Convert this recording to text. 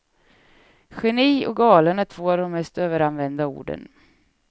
Geni och galen är två av de mest överanvända orden.